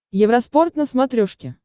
евроспорт на смотрешке